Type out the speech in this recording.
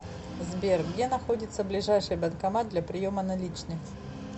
сбер где находится ближайший банкомат для приема наличных